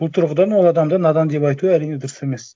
бұл тұрғыдан ол адамды надан деп айту әрине дұрыс емес